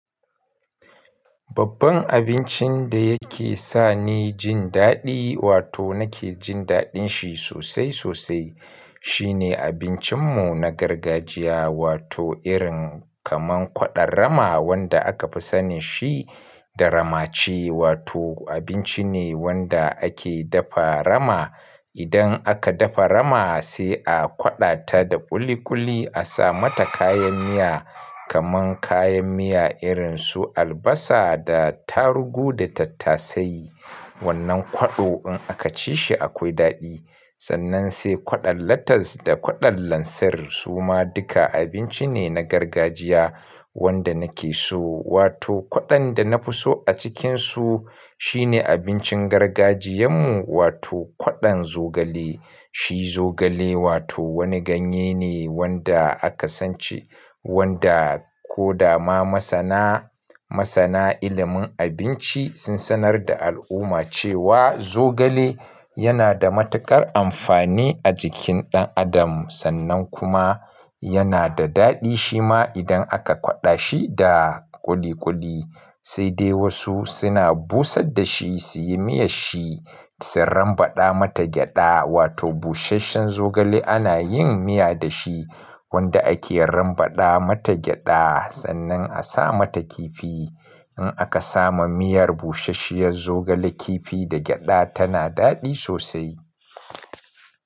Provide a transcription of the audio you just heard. Babban abincin da yake sa ni jin daɗi wato nake jin daɗin shi sosai sosai, shine abincin mu na gargajiya wato irin kaman kwaɗon rama wanda aka fi sani shi da ramaci wato abinci ne wanda ake dafa rama. Idan aka dafa rama sai a kwaɗa ta da ƙuli ƙuli, a sa mata kayan miya kaman kayan miya irin su albasa da tarugu da tattasai. Wannan kwaɗo in aka ci shi akwai daɗi. Sannan sai kwaɗon latas da kwaɗon lansir su ma duka abinci ne na gargajiya wanda nake so. Wato kwaɗon da na fi so a cikin su shine abincin gargajiyan mu wato kwaɗon zogale. Shi zogale wato wani ganye ne wanda aka san ci, wanda ko dama masana, masana ilimin abinci sun sanar da al'umma cewa zogale yana da matuƙar amfani a jikin ɗan adam sannan kuma yana da daɗi shi ma idan aka kwaɗa shi da ƙuli ƙuli. Yana da daɗi shi ma idan aka kwaɗa shi da ƙuli ƙuli. Wanda ake rambaɗa mata gyaɗa sannan a sa mata kifi. In aka samu miyar busasshiyar zogale kifi da gyaɗa tana daɗi sosai.